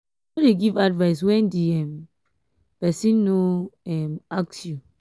no dey give advice when di um person no um ask you